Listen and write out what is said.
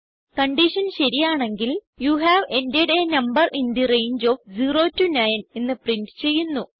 condition ശരിയാണെങ്കിൽ you have entered a number in the range of 0 9 എന്ന് print ചെയ്യുന്നു